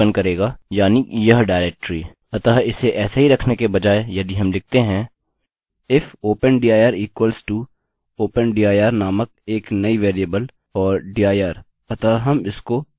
अतः इसे ऐसे ही रखने के बजाय यदि हम लिखते हैं if open dir equals to open dir नामक एक नई वेरिएबल और dir अतः हम इससे इसको मैच कर रहे हैं